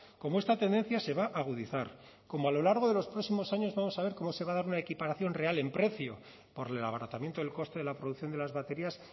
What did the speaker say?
como esta tendencia se va a agudizar como a lo largo de los próximos años vamos a ver cómo se va a dar una equiparación real en precio por el abaratamiento del coste de la producción de las baterías